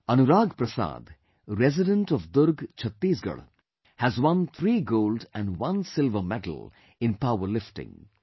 Anurag Prasad, resident of Durg Chhattisgarh, has won 3 Gold and 1 Silver medal in power lifting